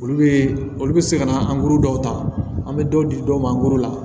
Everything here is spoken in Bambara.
Olu bɛ olu bɛ se ka na dɔw ta an bɛ dɔw di dɔw ma an ko la